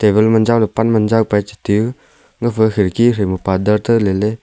galman jao le pan man jao pai jete u gafa khiriki tra ma parda ta lele.